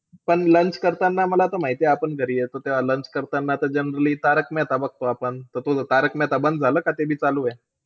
पण lunch करताना, मला तर माहितीय आपण घरी येतो तेव्हा lunch करताना तर generally आपण तारक मेहता बघतो आपण. त तुझं तारक मेहता बंद झालं का ते बी चालूय?